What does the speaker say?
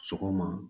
Sɔgɔma